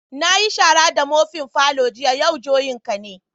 Na yi shara da mofin' falon jiya, yau juyan ka ne.